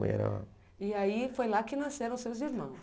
Mãe era uma... E aí foi lá que nasceram seus irmãos.